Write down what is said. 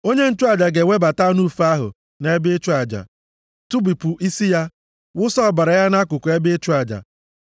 Onye nchụaja ga-ewebata anụ ufe ahụ nʼebe ịchụ aja, tụbipụ isi ya, wụsa ọbara ya nʼakụkụ ebe ịchụ aja.